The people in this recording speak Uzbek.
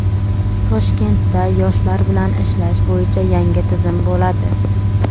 Toshkentda yoshlar bilan ishlash bo‘yicha yangi tizim bo‘ladi.